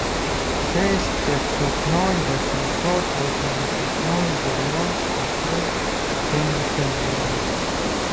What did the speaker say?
шесть пятьсот ноль восемьсот восемьдесят ноль девяносто семь семьдесят девять